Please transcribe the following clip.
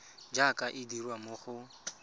jaaka e dirwa mo go